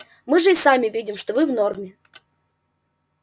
мы же и сами видим что вы в норме